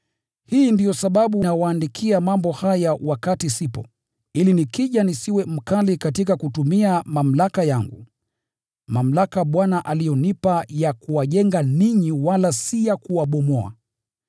Hii ndiyo sababu nawaandikia mambo haya wakati sipo, ili nikija nisiwe mkali katika kutumia mamlaka yangu, mamlaka Bwana aliyonipa ya kuwajenga ninyi wala si ya kuwabomoa.